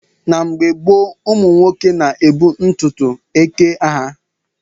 Na mgbe gboo, ụmụ nwoke na-ebu ntutu eke ha.